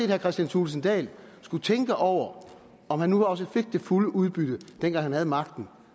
herre kristian thulesen dahl skulle tænke over om han nu også fik det fulde udbytte dengang han havde magten